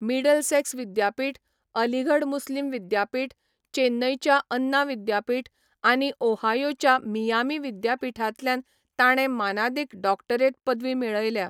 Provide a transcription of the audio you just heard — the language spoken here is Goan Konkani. मिडलसेक्स विद्यापीठ, अलीगढ मुस्लिम विद्यापीठ, चेन्नईच्या अन्ना विद्यापीठ आनी ओहायोच्या मियामी विद्यापीठांतल्यान ताणें मानादीक डॉक्टरेट पदवी मेळयल्या.